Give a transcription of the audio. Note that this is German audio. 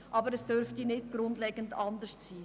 Aber diese dürften nicht grundlegend anders sein.